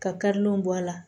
Ka karilenw bɔ a la